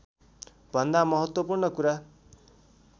भन्दा महत्त्वपूर्ण कुरा